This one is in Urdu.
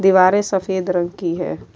دوارے سفید رنگ کی ہے۔